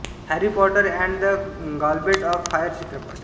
Harry Potter and the Goblet of Fire चित्रपट